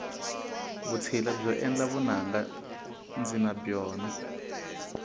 vutshila byo endla vunanga ndzi na byona